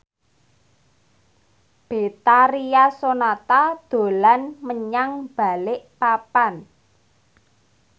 Betharia Sonata dolan menyang Balikpapan